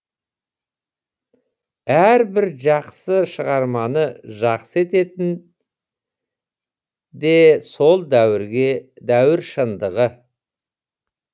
әрбір жақсы шығарманы жақсы ететін де сол дәуір шындығы